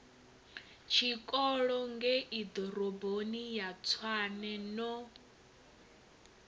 tshikolo ngeiḓoroboni ya tshwane no